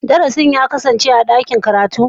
Darasin ya kasance a dakin karatu?